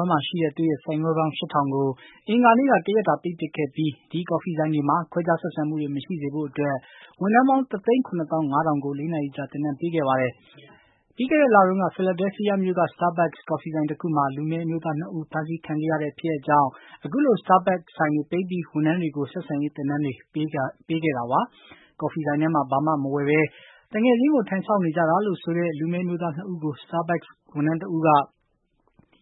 မ်းမှာရှိတဲ့ သူ့ရဲ့ဆိုင်ခွဲပေါင်း ၈၀၀၀ ကို အင်္ဂါနေ့က တရက်တာ ပိတ်ပစ်ခဲ့ပြီး Starbucks ကော်ဖီဆိုင်တွေမှာ ခွဲခြားဆက်ဆံမှုတွေ မရှိစေဖို့အတွက် ဝန်ထမ်းပေါင်း တသိန်းခုနှစ်သောင်းငါးထောင်ကို လေးနာရီကြာ သင်တန်း ပေးခဲ့ပါတယ်။ ပြီးခဲ့တဲ့လတုန်းက ဖီလာဒဲဖီးယားမြို့က Starbucks ကော်ဖီဆိုင်တခုမှာ လူမဲအမျိုးသားနှစ်ဦး ဖမ်းဆီးခံခဲ့ရတဲ့ ဖြစ်ရပ်ကြောင့်လည်း အခုလို Starbucks ဆိုင်တွေပိတ်ပြီး ဝန်ထမ်းတွေကို ဆက်ဆံရေးသင်တန်းပေးတာတွေ ဖြစ်လာခဲ့တာပါ။ ကော်ဖီဆိုင်ထဲမှာ ဘာမှဝယ်မစားဘဲ သူငယ်ချင်းကို ထိုင်စောင့်နေကြတာလို့ ဆိုတဲ့ လူမည်းအမျိုးသားနှစ်ဦးကို Starbucks ဝန်ထမ်းတဦးက